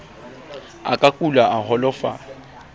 a ka kula a holofala